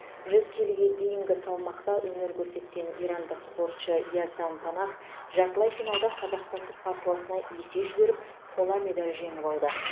жүз келіге дейінгі салмақта өнер көрсеткен ирандық спортшы яздан панах жартылай финалда қазақстандық қарсыласына есе жіберіп қола медаль жеңіп алды